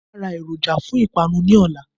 Màá a ra èròjà fún ìpanu ní òla